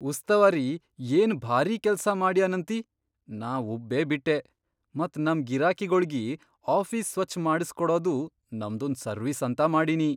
ಉಸ್ತವಾರಿ ಏನ್ ಭಾರೀ ಕೆಲ್ಸಾ ಮಾಡ್ಯನಂತಿ ನಾ ಉಬ್ಬೇಬಿಟ್ಟೆ, ಮತ್ ನಮ್ ಗಿರಾಕಿಗೊಳಿಗಿ ಆಫೀಸ್ ಸ್ವಚ್ಛ್ ಮಾಡಸ್ಕೊಡದೂ ನಮ್ದೊಂದ್ ಸರ್ವೀಸ್ ಅಂತ ಮಾಡಿನಿ.